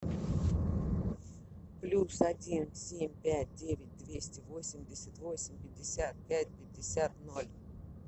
плюс один семь пять девять двести восемьдесят восемь пятьдесят пять пятьдесят ноль